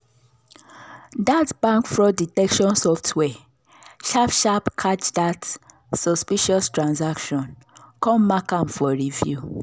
that bank fraud detection software sharp sharp catch that suspicious transaction come mark am for review.